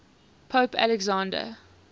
pope alexander